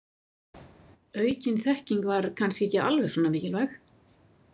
Aukin þekking var kannski ekki alveg svona mikilvæg.